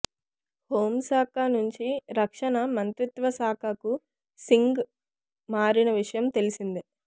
home శాఖ నుంచి రక్షణ మంత్రిత్వశాఖకు సింగ్ మారిన విషయం తెలిసిందే